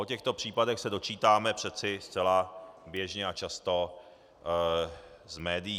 O těchto případech se dočítáme přece zcela běžně a často z médií.